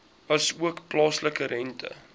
asook plaaslike rente